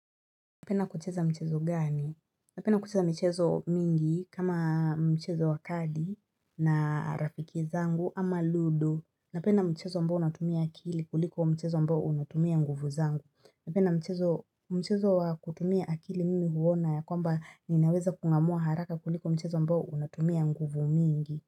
Napenda kucheza mchezo gani? Napenda kucheza michezo mingi kama mchezo wa kadi na rafiki zangu ama ludo. Napenda mchezo ambao unatumia akili kuliko mchezo ambao unatumia nguvu zangu. Napenda mchezo mchezo wa kutumia akili mimi huona ya kwamba ninaweza kungamua haraka kuliko mchezo ambao unatumia nguvu mingi.